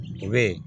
U be